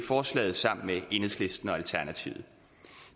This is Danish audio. forslaget sammen med enhedslisten og alternativet